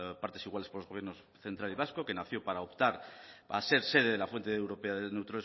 partes iguales por los gobiernos central y vasco que nació para optar a ser sede de la fuente europea de neutrones